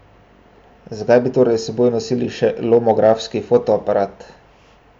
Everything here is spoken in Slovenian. Zakaj bi torej s seboj nosili še lomografski fotoaparat?